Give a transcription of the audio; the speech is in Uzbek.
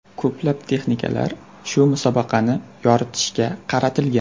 Ko‘plab texnikalar shu musobaqani yoritishga qaratilgan.